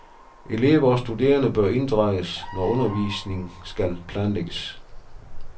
Elever og studerende bør inddrages, når undervisning skal planlægges.